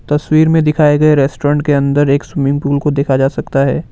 तस्वीर में दिखाए गए रेस्टोरेंट के अंदर एक स्विमिंग पूल को देखा जा सकता है।